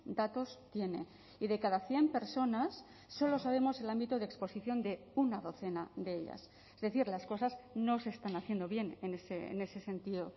datos tiene y de cada cien personas solo sabemos el ámbito de exposición de una docena de ellas es decir las cosas no se están haciendo bien en ese sentido